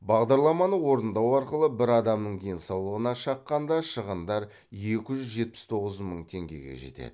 бағдарламаны орындау арқылы бір адамның денсаулығына шаққанда шығындар екі жүз жетпіс тоғыз мың теңгеге жетеді